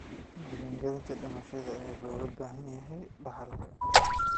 Diiwaangelinta dhimashada ayaa looga baahan yahay dhaxalka.